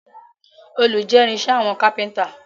Òòlù jẹ́ irinṣẹ́ àwọn kápẹ́ntà